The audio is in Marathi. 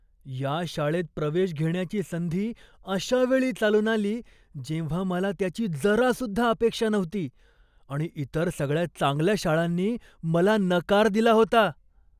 या शाळेत प्रवेश घेण्याची संधी अशावेळी चालून आली जेव्हा मला त्याची जरासुद्धा अपेक्षा नव्हती आणि इतर सगळ्या चांगल्या शाळांनी मला नकार दिला होता.